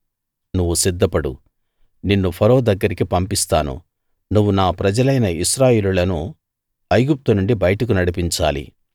నువ్వు సిద్ధపడు నిన్ను ఫరో దగ్గరికి పంపిస్తాను నువ్వు నా ప్రజలైన ఇశ్రాయేలీయులను ఐగుప్తు నుండి బయటకు నడిపించాలి